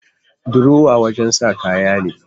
Durowa wajen sa kaya ne